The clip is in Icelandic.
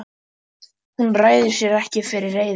Hún ræður sér ekki fyrir reiði.